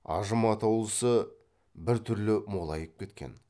ажым атаулысы біртүрлі молайып кеткен